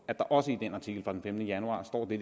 at der også i den artikel fra den femtende januar står det